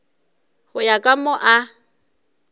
go ya ka moo a